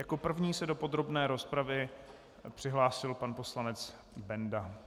Jako první se do podrobné rozpravy přihlásil pan poslanec Benda.